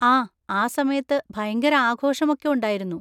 ആ, ആ സമയത്ത് ഭയങ്കര ആഘോഷം ഒക്കെ ഉണ്ടായിരുന്നു.